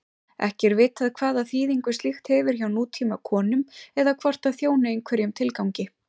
Ekki er vitað hvaða þýðingu slíkt hefur hjá nútímakonum eða hvort það þjóni einhverjum tilgangi.